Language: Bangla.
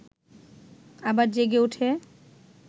আবার জেগে ওঠে